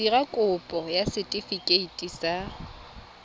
dira kopo ya setefikeiti sa